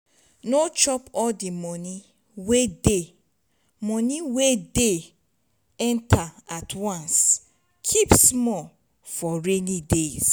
no chop all di money wey dey money wey dey enter at once keep small for rainy days